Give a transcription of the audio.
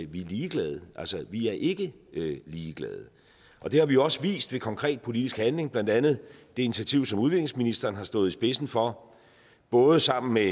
vi ligeglade vi er ikke ligeglade og det har vi jo også vist ved konkret politisk handling blandt andet det initiativ som udviklingsministeren har stået i spidsen for både sammen med